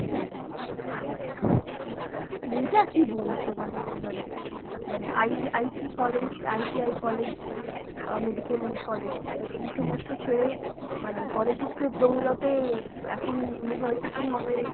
আচ্ছা আচ্ছা, মানে এটা কী বলছো? মানে মনে মানে IIT college, IIT college অ্যাঁ medical college, এই সমস্ত ছেড়ে মানে politics এর দৌলতে এখন university হবে